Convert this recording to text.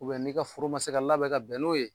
n'i ka foro ma se ka labɛn ka bɛn n'o ye